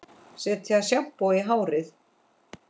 Setja sjampó í hárið?